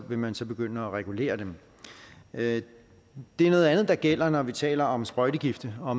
vil man så begynde at regulere dem det er noget andet der gælder når vi taler om sprøjtegifte og